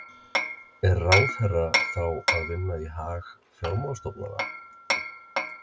Er ráðherra þá að vinna í hag fjármálastofnana?